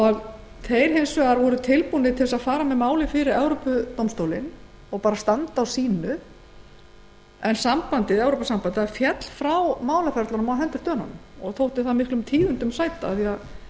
evrópusambandsmarkaðinn þeir voru tilbúnir þess að fara með málið fyrir evrópudómstólinn og standa á sínu en evrópusambandið féll frá málaferlunum á hendur dönunum og þótti það miklum tíðindum sæta af því að